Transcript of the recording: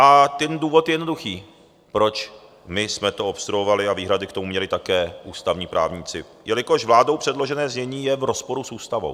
A ten důvod je jednoduchý, proč my jsme to obstruovali - a výhrady k tomu měli také ústavní právníci - jelikož vládou předložené znění je v rozporu s ústavou.